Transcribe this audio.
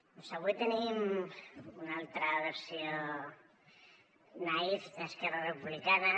doncs avui tenim una altra versió naïf d’esquerra republicana